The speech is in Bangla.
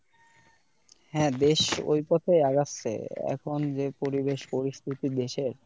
হ্যাঁ দেশ ওই পথেই আগাচ্ছে এখন যে পরিবেশ পরিস্থিতি দেশের,